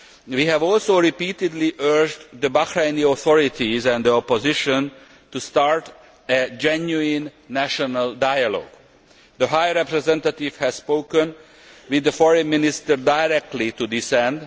We have also repeatedly urged the Bahraini authorities and the opposition to start a genuine national dialogue. The High Representative has spoken with the Foreign Minister directly to this end.